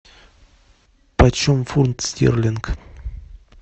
почем фунт стерлинга